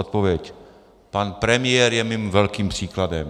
Odpověď: Pan premiér je mým velkým příkladem.